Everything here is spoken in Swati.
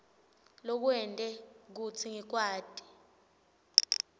lokwente kutsi ngikwati